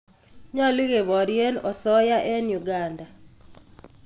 Nyolu keporyeen osoya en Uganda